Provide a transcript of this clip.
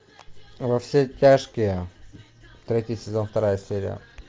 во все тяжкие третий сезон вторая серия